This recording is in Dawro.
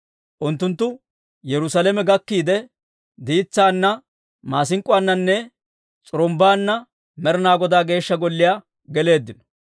Unttunttu Yerusaalame gakkiide, diitsaana, maasink'k'uwaananne s'urumbbaanna Med'inaa Godaa Geeshsha Golliyaa geleeddino.